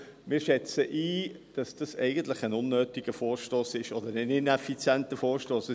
Wir schätzen es so ein, dass das eigentlich ein unnötiger oder ineffizienter Vorstoss ist.